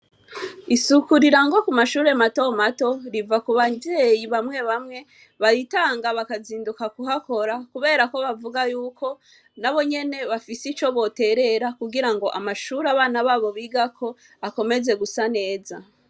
Isuku rira ngo ku mashure mato mato riva ku bajeyi bamwe bamwe baritanga bakazinduka kuhakora, kubera ko bavuga yuko na bo nyene bafise ico boterera kugira ngo amashuri abana babo bigako akomeze gusa neza.